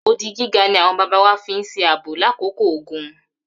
Odi gíga ni àwọn bàbá wa fi ń ṣe ààbò lákòókò ogun.